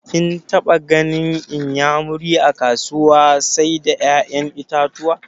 Kin taɓa ganin inyamuri a kasuwar sai da ƴaƴan itatuwa?